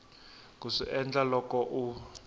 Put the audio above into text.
ku swi endla loko u